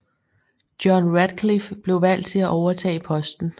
John Ratcliffe blev valgt til at overtage posten